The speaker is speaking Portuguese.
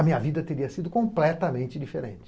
A minha vida teria sido completamente diferente.